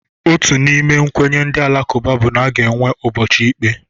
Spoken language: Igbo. Otu n'ime nkwenye ndị Alakụba bụ na aga enwe ụbọchị ikpe.